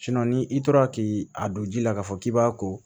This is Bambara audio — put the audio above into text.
ni i tora k'i a don ji la k'a fɔ k'i b'a ko